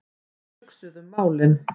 Við hugsuðum málin.